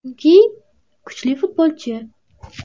Chunki kuchli futbolchi.